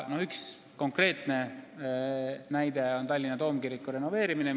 Üks konkreetne näide on Tallinna toomkiriku renoveerimine.